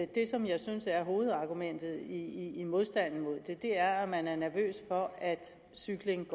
det som jeg synes er hovedargumentet i modstanden mod det er at man er nervøs for at cykling